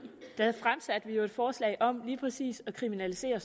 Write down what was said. fremsatte vi jo et forslag om lige præcis at kriminalisere